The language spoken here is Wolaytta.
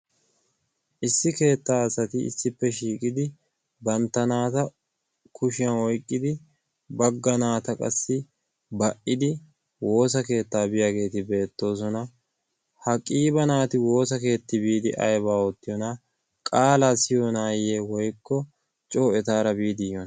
Issi keettaa asati issippe shiiqidi bantta naata kushiyan oyiqqidi bagga naata qassi ba"idi woosa keettaa biyageeti beettoosona. Ha qiiba naati woosa keeti biidi ayi oottiyonaa? Qaalaa siyiyonaayye woyikko coo etaara biidi yiyoonaa?